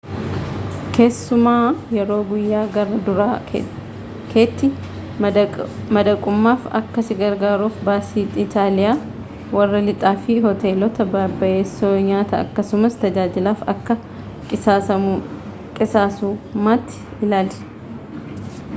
keessumaa yeroo guyyaa gara duraa kettie madaqummaaf akka si gargaaruuf baasii istaayila warra lixaa fi hoteelotta babbayessoo nyaata akkasumas tajaajilaf akka qisaasummaatii ilaali